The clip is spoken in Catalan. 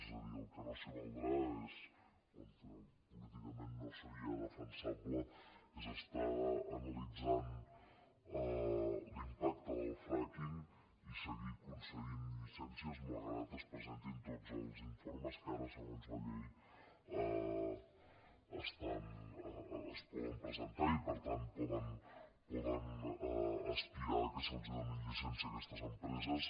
és a dir al que no s’hi valdrà o políticament no seria defensable és estar analitzant l’impacte del frackinges presentin tots els informes que ara segons la llei es poden presentar i per tant poden aspirar que se’ls doni llicència a aquestes empreses